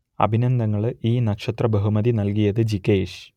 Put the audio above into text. അഭിനന്ദനങ്ങൾ ഈ നക്ഷത്ര ബഹുമതി നൽകിയത് ജിഗേഷ്